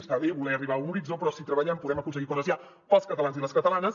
està bé voler arribar a un horitzó però si treballem podem aconseguir coses ja per als catalans i les catalanes